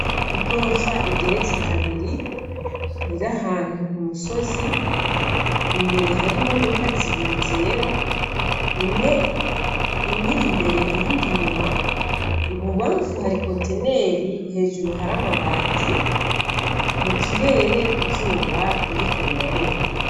Igorofa igeretse kabiri ir'ahantu ku musozi, imbere hari imodoka zibiri zera, imwe ir'imbere iyindi inyuma, ibubamfu hari ikontineri hejuru hari amabati, mu kirere izuba ririko rirarenga.